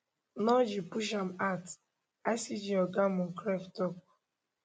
no g push am out icg oga moncrieff tok